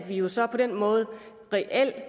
jo så på den måde reelt